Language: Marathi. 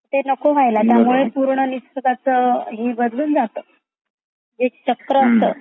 ते नको व्हयला त्यामुळे पूर्णनिसर्गच हे बदलून जात एक चक्र असता.